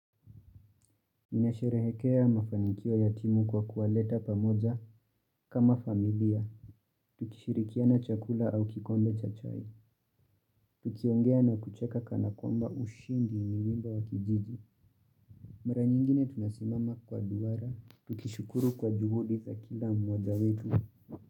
Inasherehekea mafanikio ya timu kwa kuwaleta pamoja kama familia. Tukishirikia na chakula au kikombe cha chai. Tukiongea na kucheka kana kwamba ushindi ni wimbo wa kijiji. Mara nyingine tunasimama kwa duara. Tukishukuru kwa juhudi za kila mmoja wetu.